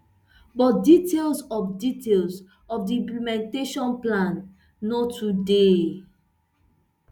but details of details of di implementation plan no too dey